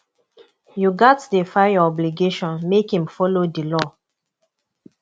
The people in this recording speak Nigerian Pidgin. yu gats dey file yur obligations mek im follow di law